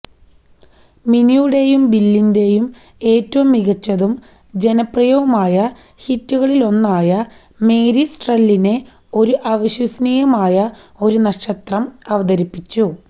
മിനിയുടെയും ബില്ലിന്റെയും ഏറ്റവും മികച്ചതും ജനപ്രിയവുമായ ഹിറ്റുകളിലൊന്നായ മേരി സ്ട്രെല്ലിനെ ഒരു അവിശ്വസനീയമായ ഒരു നക്ഷത്രം അവതരിപ്പിച്ചു